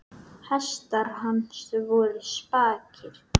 Hestar hans voru spakir.